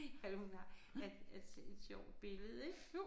At hun har at at se et sjovt billede ik